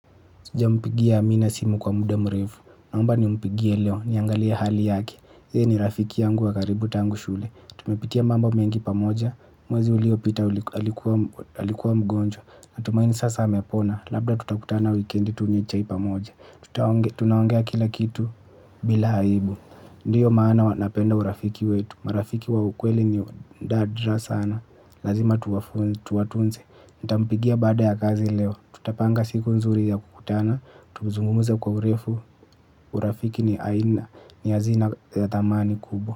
Jampigia amina simu kwa muda mrefu. Naomba nimpigie leo. Niangalie hali yake. Yeye ni rafiki yangu wa karibu tangu shule. Tumepitia mambo mengi pamoja. Mwezi uliopita alikuwa mgonjwa. Natumaini sasa amepona. Labda tutakutana wikendi tunywe chai pamoja. Tutaongea tunaongea kila kitu bila aibu. Ndiyo maana huwa napenda urafiki wetu. Marafiki wa ukweli ni nadra sana. Lazima tuwatunze. Nitampigia baada ya kazi leo. Tutapanga siku nzuri ya kukutana, tuzungumze kwa urefu, urafiki ni aina, ni hazina ya thamani kubwa.